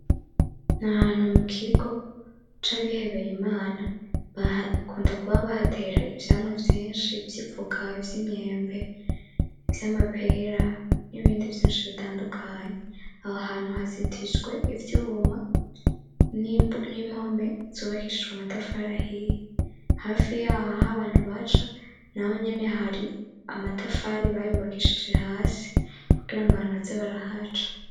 Ni ahantu mu kigo c'abihebeye imana bakunda kuba bahatera ivyamwa vyinshi vy'ivoka, vy'imyembe , ivy'amapera, n'ibindi vyinshi bitandukanye aho hantu hazitijwe ivyuma n'impome z'ubakishijwe amatafari ahiye, hafi yaho aho abantu baca naho nyene hari amatafari bayubakishije hasi kugirango baze barahaca.